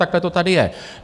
Takhle to tady je.